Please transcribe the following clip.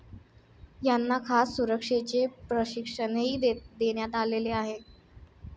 यांना खास सुरक्षेचे प्रशिक्षणही देण्यात आलेले आहे.